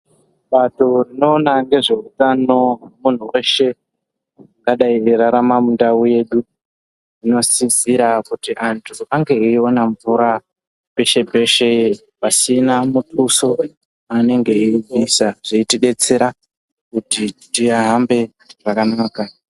Bato rinoona ngezveutano hwemunhu weshe angadai eirarama mundau yedu inosisira kuti antu ange eione mvura peshe-peshe pasina muthuso waanenge eibvisa zveitidetsera kuti tihambe zvakanaka.